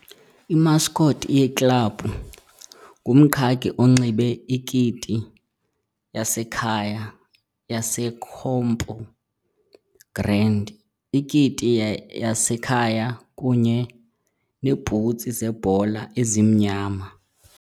Imascot yeklabhu ngumqhagi onxibe ikiti yasekhaya yaseCampo Grande ikiti yasekhaya kunye neebhutsi zebhola ezimnyama.